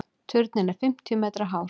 Turninn er fimmtíu metra hár.